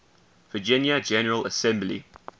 virginia general assembly